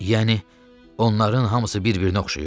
Yəni onların hamısı bir-birinə oxşayır?